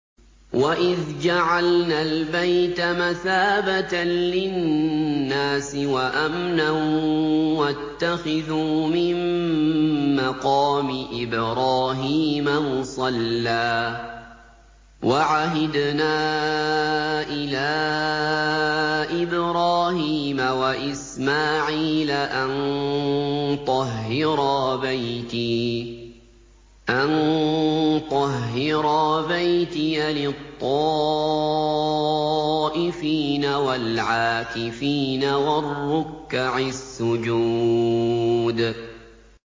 وَإِذْ جَعَلْنَا الْبَيْتَ مَثَابَةً لِّلنَّاسِ وَأَمْنًا وَاتَّخِذُوا مِن مَّقَامِ إِبْرَاهِيمَ مُصَلًّى ۖ وَعَهِدْنَا إِلَىٰ إِبْرَاهِيمَ وَإِسْمَاعِيلَ أَن طَهِّرَا بَيْتِيَ لِلطَّائِفِينَ وَالْعَاكِفِينَ وَالرُّكَّعِ السُّجُودِ